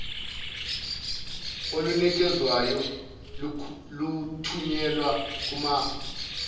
olunikezwayo luthunyelwa kumafokisi